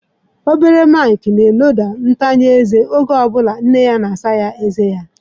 Obere Mike na-eloda ntanya eze oge ọ bụla nne ya na-asa ezé ya.